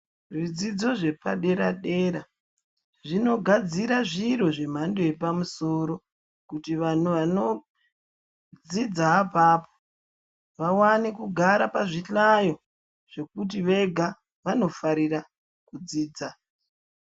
Zvidzidzo zvepadera-dera zvinogadzira zviro zvemhando yapamusoro, kuti vanodzidza apapo vawane kugara pazvihlayo zvekuti vega vanofarira kudzidza.